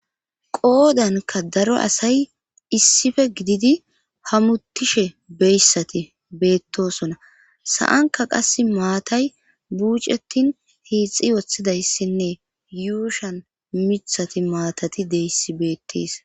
qoodanka daro asay issife gididi hamuttishe beyssati beettosona sa7anka qas maatay buucetin hiixi woththidayssinne yuushan mithati maatati deyssi beettis